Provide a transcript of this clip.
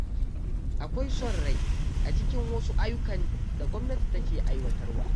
Akwai son rai a cikin wasu ayyukan da gwamnati take aiwatarwa.